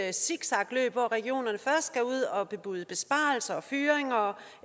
et zigzagløb hvor regionerne først skal ud og bebude besparelser og fyringer og